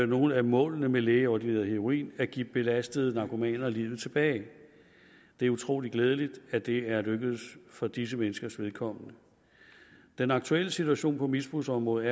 nogle af målene med lægeordineret heroin at give belastede narkomaner livet tilbage det er utrolig glædeligt at det er lykkedes for disse menneskers vedkommende den aktuelle situation på misbrugsområdet